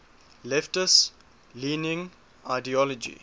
leftist leaning ideology